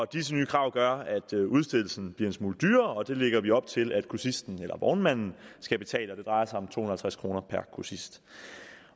disse nye krav gør at udstedelsen bliver en smule dyrere og det lægger vi op til at grossisten eller vognmanden skal betale det drejer sig om to hundrede og halvtreds kroner per grossist